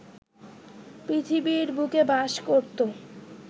পৃথিবীর বুকে বাস করতো